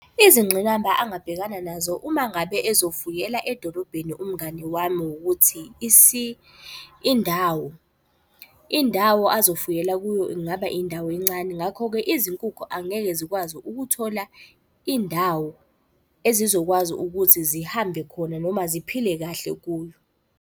Izingqinamba engabhekana nazo uma ngabe ezofuyela edolobheni umngani wami wukuthi indawo. Indawo azofuyela kuyo ingaba indawo encane. Ngakho-ke izinkukhu angeke zikwazi ukuthola indawo ezizokwazi ukuthi zihambe khona noma ziphile kahle kuyo.